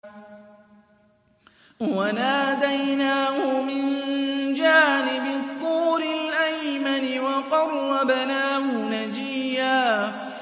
وَنَادَيْنَاهُ مِن جَانِبِ الطُّورِ الْأَيْمَنِ وَقَرَّبْنَاهُ نَجِيًّا